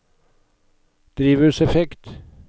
drivhuseffekt